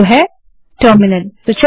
जो है टर्मिनल